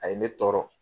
A ye ne tɔɔrɔ